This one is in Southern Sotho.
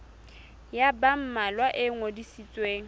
ya ba mmalwa e ngodisitsweng